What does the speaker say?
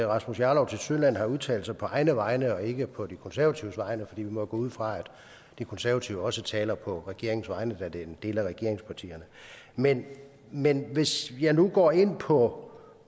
rasmus jarlov tilsyneladende har udtalt sig på egne vegne og ikke på de konservatives vegne for vi må jo gå ud fra at de konservative også taler på regeringens vegne da de er en del af regeringspartierne men men hvis jeg nu går ind på